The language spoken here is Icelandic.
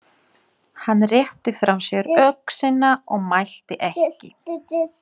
Hann rétti frá sér öxina og mælti ekki.